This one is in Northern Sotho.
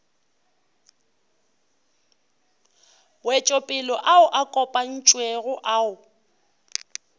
wetšopele ao a kopantšwego ao